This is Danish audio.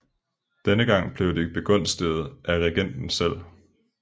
Denne gang blev de begunstiget af regenten selv